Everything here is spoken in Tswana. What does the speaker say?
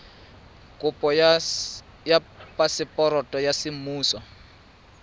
kopo ya phaseporoto ya semmuso